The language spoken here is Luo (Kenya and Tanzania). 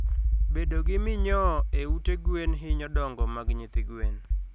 Bedo gi minyoo e ute gwen hinyo dongo mag nyithi gwen